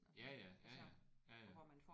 Ja ja. Ja ja. Ja ja